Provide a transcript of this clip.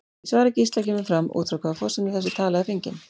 Í svari Gísla kemur fram út frá hvaða forsendum þessi tala er fengin.